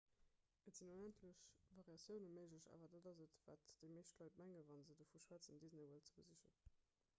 et sinn onendlech variatioune méiglech awer dat ass et wat déi meescht leit mengen wa se dovu schwätzen disney world ze besichen